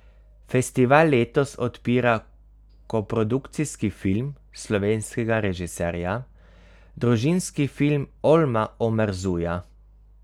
Festival letos odpira koprodukcijski film slovenskega režiserja, Družinski film Olma Omerzuja.